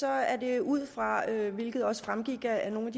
er det ud fra hvilket også fremgik af nogle